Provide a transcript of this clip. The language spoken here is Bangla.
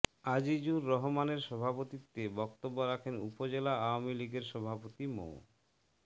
আজিজুর রহমানের সভাপতিত্বে বক্তব্য রাখেন উপজেলা আওয়ামী লীগের সভাপতি মো